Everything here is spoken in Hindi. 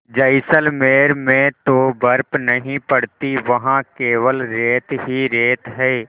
जैसलमेर में तो बर्फ़ नहीं पड़ती वहाँ केवल रेत ही रेत है